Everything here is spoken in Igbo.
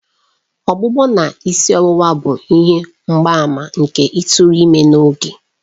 Ọgbụgbọ na isi ọwụwa bụ ihe mgbaàmà nke ịtụrụ ime n'oge.